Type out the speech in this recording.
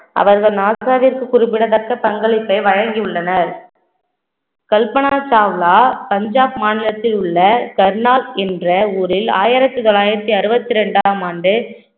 அவர்கள் நாசாவிற்கு குறிப்பிடத்தக்க பங்களிப்பை வழங்கியுள்ளனர் கல்பனா சாவ்லா பஞ்சாப் மாநிலத்தில் உள்ள கர்னால் என்ற ஊரில் ஆயிரத்தி தொள்ளாயிரத்தி அறுபத்தி இரண்டாம் ஆண்டு